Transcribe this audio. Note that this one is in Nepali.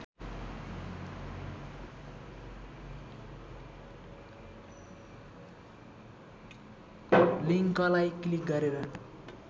लिङ्कलाई क्लिक गरेर